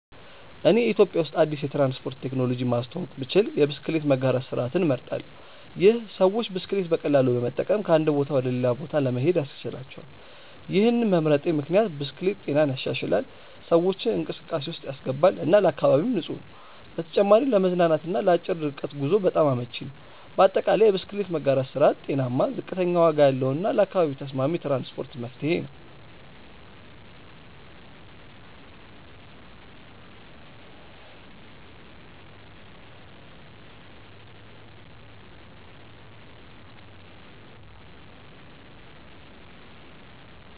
እኔ ኢትዮጵያ ውስጥ አዲስ የትራንስፖርት ቴክኖሎጂ ማስተዋወቅ ብችል የብስክሌት መጋራት ስርዓትን እመርጣለሁ። ይህ ሰዎች ብስክሌት በቀላሉ በመጠቀም ከአንድ ቦታ ወደ ሌላ ለመሄድ ያስችላቸዋል። ይህን መምረጤ ምክንያት ብስክሌት ጤናን ይሻሻላል፣ ሰዎችን እንቅስቃሴ ውስጥ ያስገባል እና ለአካባቢም ንፁህ ነው። በተጨማሪም ለመዝናናት እና ለአጭር ርቀት ጉዞ በጣም አመቺ ነው። በአጠቃላይ፣ የብስክሌት መጋራት ስርዓት ጤናማ፣ ዝቅተኛ ዋጋ ያለው እና ለአካባቢ ተስማሚ የትራንስፖርት መፍትሄ ነው።